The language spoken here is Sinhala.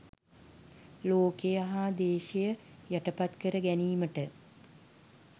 ලෝකය හා ද්වේෂය යටපත් කර ගැනීමට